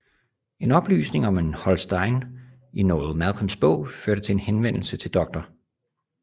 En oplysning om en Holstein i Noel Malcolms bog førte til en henvendelse til Dr